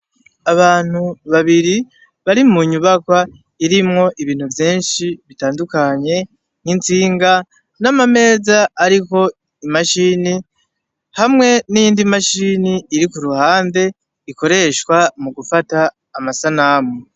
Abantu babiri bari mu nyubaka irimwo ibintu vyenshi bitandukanye nk'insinga n'amameza, ariko imashini hamwe n'indi mashini iri ku ruhande ikoreshwa mu gufata amasanamu.